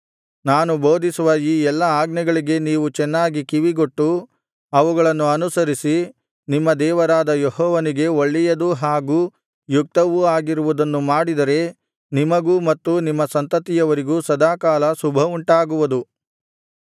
ನಾನು ಬೋಧಿಸುವ ಈ ಎಲ್ಲಾ ಆಜ್ಞೆಗಳಿಗೆ ನೀವು ಚೆನ್ನಾಗಿ ಕಿವಿಗೊಟ್ಟು ಅವುಗಳನ್ನು ಅನುಸರಿಸಿ ನಿಮ್ಮ ದೇವರಾದ ಯೆಹೋವನಿಗೆ ಒಳ್ಳೆಯದೂ ಹಾಗು ಯುಕ್ತವೂ ಆಗಿರುವುದನ್ನು ಮಾಡಿದರೆ ನಿಮಗೂ ಮತ್ತು ನಿಮ್ಮ ಸಂತತಿಯವರಿಗೂ ಸದಾಕಾಲ ಶುಭವುಂಟಾಗುವುದು